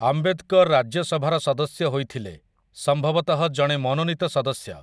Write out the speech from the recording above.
ଆମ୍ବେଦକର ରାଜ୍ୟସଭାର ସଦସ୍ୟ ହୋଇଥିଲେ, ସମ୍ଭବତଃ ଜଣେ ମନୋନୀତ ସଦସ୍ୟ ।